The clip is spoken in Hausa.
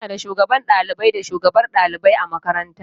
Muna da Shugaban ɗalibai da shugabar ɗalibai a makaranta.